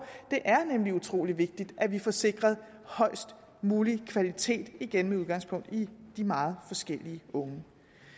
det er nemlig utrolig vigtigt at vi får sikret højst mulig kvalitet igen med udgangspunkt i de meget forskellige unge